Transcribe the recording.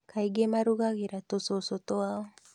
Kaingĩ marugagĩra tũcũcũ twao